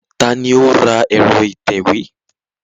Ta ni ó ra ẹ̀rọ ìtẹ̀wé?